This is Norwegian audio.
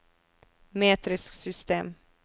metrisk system